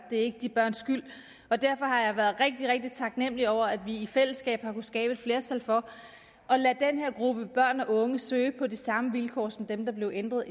det er ikke de børns skyld og derfor har jeg været rigtig rigtig taknemlig over at vi i fællesskab har kunnet skabe et flertal for at lade den her gruppe børn og unge søge på de samme vilkår som dem der blev ændret